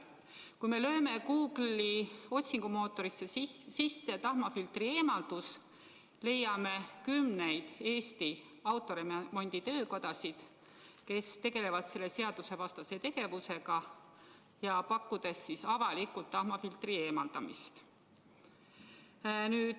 Kui me lööme Google'i otsingumootorisse sisse "tahmafiltri eemaldus", leiame kümneid Eesti autoremonditöökodasid, kes tegelevad selle seadusevastase tegevusega, pakkudes avalikult tahmafiltri eemaldamist.